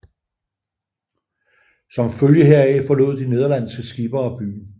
Som følge heraf forlod de nederlandske skippere byen